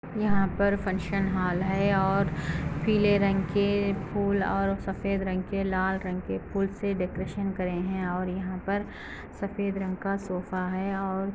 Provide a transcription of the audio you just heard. यहाँ पर functional hall हैं और पीले रंग के फूल और सफ़ेद रंग के लाल रंग के फूल से डेकोरेशन करें हैं और यहाँ सफ़ेद रंग का सोफ़ा है और --